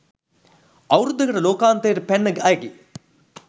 අවුරුද්දකට ලෝකාන්තයට පැන්න අයගේ